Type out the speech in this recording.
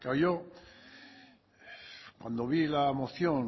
claro cuando vi la moción